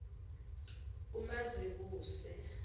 umazibuse